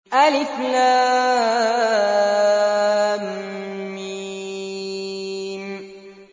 الم